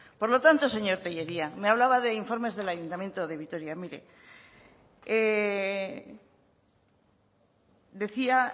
por lo tanto señor tellería me hablaba de informes del ayuntamiento de vitoria mire decía